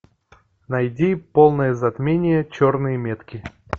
найди полное затмение черные метки